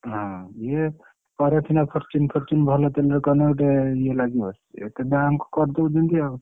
ହଁ ଇଏ କରେ ସିନା Fortune Fortune ଭଲ ତେଲରେ କଲେ ଗୋଟେ ଇଏ ଲାଗିବ ଏତେ ଦାମ କରିଦଉଛନ୍ତି ଆଉ।